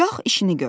Qalx işini gör.